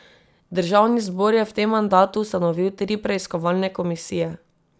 Državni zbor je v tem mandatu ustanovil tri preiskovalne komisije.